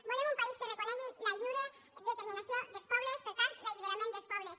volem un país que reconegui la lliure determinació dels pobles per tant l’alliberament dels pobles